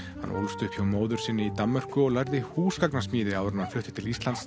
hann ólst upp hjá móður sinni í Danmörku og lærði húsgagnasmíði áður en hann flutti til Íslands